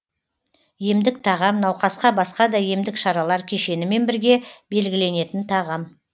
емдік тағам науқасқа басқа да емдік шаралар кешенімен бірге белгіленетін тағам